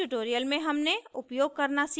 इस ट्यूटोरियल में हमने उपयोग करना सीखा